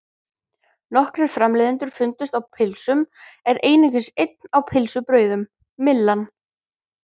Nokkrir framleiðendur fundust á pylsum en einungis einn á pylsubrauðum, Myllan.